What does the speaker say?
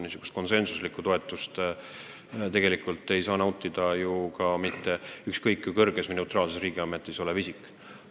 Konsensuslikku toetust tegelikult ei saa nautida ükski ükskõik kui kõrges riigiametis olev isik, isegi kui see amet on neutraalne.